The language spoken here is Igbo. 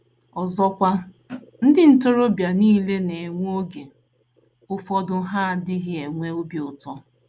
* Ọzọkwa, ndị ntorobịa nile na - enwe oge ụfọdụ ha na - adịghị enwe obi ụtọ.